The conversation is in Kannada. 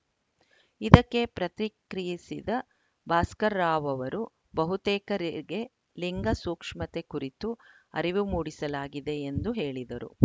ಇದಕ್ಕೆ ಪ್ರತಿಕ್ರಿಯಿಸಿದ ಭಾಸ್ಕರ್‌ ರಾವ್‌ ಅವರು ಬಹುತೇಕರಿಗೆ ಲಿಂಗ ಸೂಕ್ಷ್ಮತೆ ಕುರಿತು ಅರಿವು ಮೂಡಿಸಲಾಗಿದೆ ಎಂದು ಹೇಳಿದರು